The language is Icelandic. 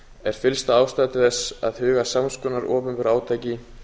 er fyllsta ástæða til að huga að sams konar opinberu átaki